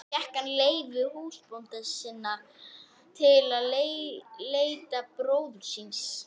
Fékk hann leyfi húsbænda sinna til að leita bróður síns.